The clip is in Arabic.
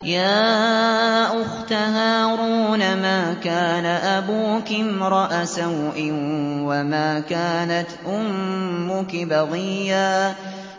يَا أُخْتَ هَارُونَ مَا كَانَ أَبُوكِ امْرَأَ سَوْءٍ وَمَا كَانَتْ أُمُّكِ بَغِيًّا